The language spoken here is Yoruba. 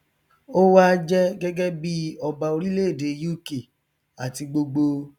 ó wa jẹ gẹgẹ bí ọba orílẹèdè uk àti gbogbo